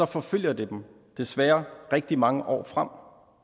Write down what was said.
forfølger det dem desværre rigtig mange år frem